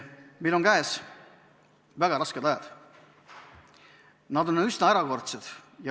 Meil on käes väga rasked ajad, need on üsna erakordsed.